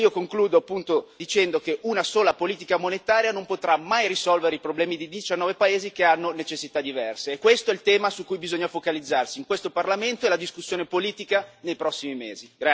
Concludo dicendo che una sola politica monetaria non potrà mai risolvere i problemi di 19 paesi che hanno necessità diverse e questo è il tema su cui bisogna focalizzarsi in questo Parlamento e la discussione politica nei prossimi mesi.